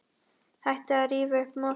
Hættið að rífa upp mosann.